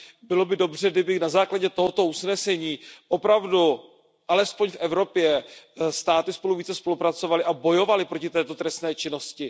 Bylo by dobře, kdyby na základě tohoto usnesení opravdu alespoň v Evropě státy spolu více spolupracovaly a bojovaly proti této trestné činnosti.